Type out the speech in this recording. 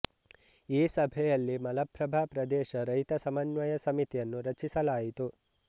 ಈ ಸಭೆಯಲ್ಲಿ ಮಲಪ್ರಭಾ ಪ್ರದೇಶ ರೈತ ಸಮನ್ವಯ ಸಮಿತಿಯನ್ನು ರಚಿಸಲಾಯಿತು